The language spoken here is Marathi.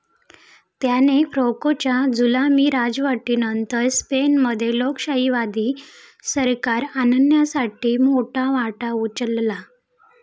त्याने फ्रोकोंच्या जुलमी राजवटीनंतर स्पेनमध्ये लोकशाहीवादी सरकार आणण्यामध्ये मोठा वाटा उचलला.